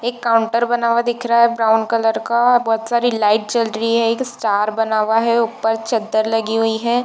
एक काउंटर बना हुआ दिख रहा है ब्राउन कलर का बहोत सारी लाइट जल रही हैं एक स्टार बना हुआ है ऊपर चद्दर लगी हुई है।